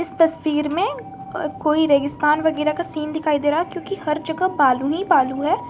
तस्वीर में कोई रेगिस्तान वगैरा का सीन दिखाई दे रहा क्योंकि हर जगह बालू ही बालू है।